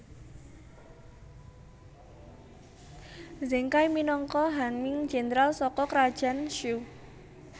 Zheng Kai minangka Han Ming Jéndral saka Krajan Shu